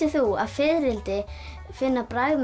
þú að fiðrildi finna bragð með